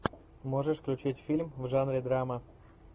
можешь включить фильм в жанре драма